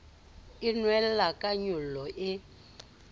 e nwelella ka nyollo e